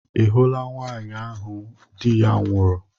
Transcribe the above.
Ị hụla nwaanyị ahụ di ya nwụrụ?